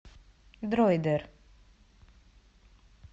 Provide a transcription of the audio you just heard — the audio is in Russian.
дройдер